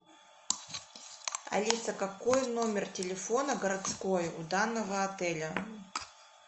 алиса какой номер телефона городской у данного отеля